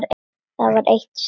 Það var eitt sinn.